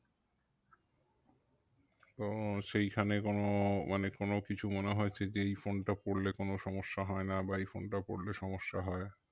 তো সেই খানে কোনো মানে কোনো কিছু মনে হয়েছে যে এই phone টা পড়লে কোনো সমস্যা হয় না বা এই phone টা পড়লে কোনো সমস্যা হয়